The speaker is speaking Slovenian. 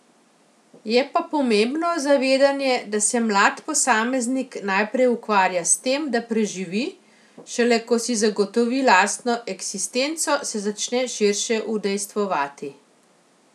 Je pa pomembno zavedanje, da se mlad posameznik naprej ukvarja s tem, da preživi, šele ko si zagotovi lastno eksistenco, se začne širše udejstvovati.